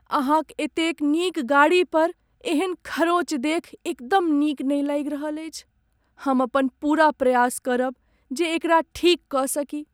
अहाँक एतेक नीक गाड़ी पर एहन खरोंच देखि एकदम नीक नहि लागि रहल अछि, हम अपन पूरा प्रयास करब जे एकरा ठीक कऽ सकी।